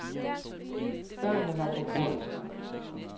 Børnene var på grådens rand.